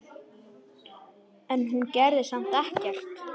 En hún gerði samt ekkert.